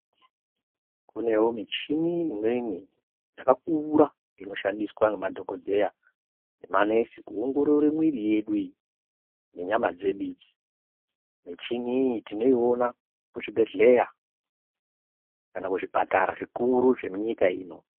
Kunewo michini imweni yakakura inoshandiswa ngemadhokodheya nemanesi kuongorora mwiri yedu. Michini iyi tinoiona kuzvibhedhlera kana kuzvipatara zvikuru zvemunyika ino.